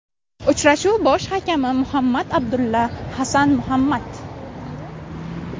Uchrashuv bosh hakami Muhammad Abdulla Hassan Muhammad.